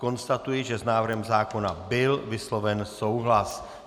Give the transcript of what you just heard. Konstatuji, že s návrhem zákona byl vysloven souhlas.